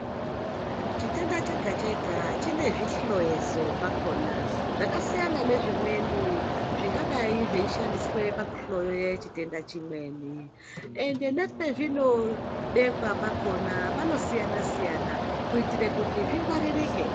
Chitenda chega chega chine zvihloyeso zvakhona zvakasiyana nezvimweni zvingadayi zveishandiswa pakuhloya chitenda chimweni ende pazvinobekwa pakhona panosiyana siyana kuitire kuti zvingwaririke.